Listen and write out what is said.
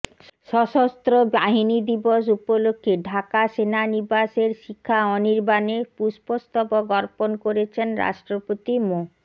সশস্ত্র বাহিনী দিবস উপলক্ষে ঢাকা সেনানিবাসের শিখা অনির্বাণে পুষ্পস্তবক অর্পণ করেছেন রাষ্ট্রপতি মো